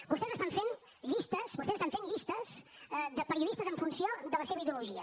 vostès estan fent llistes vostès estan fent llistes de periodistes en funció de la seva ideologia